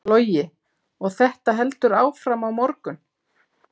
Logi: Og þetta heldur áfram á morgun?